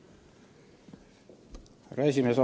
Härra esimees!